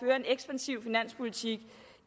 en ekspansiv finanspolitik